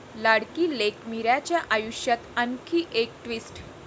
लाडकी लेक मीराच्या आयुष्यात आणखी एक ट्विस्ट